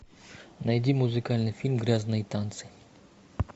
найди музыкальный фильм грязные танцы